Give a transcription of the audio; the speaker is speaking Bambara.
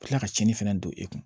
Ka tila ka cɛnni fana don e kun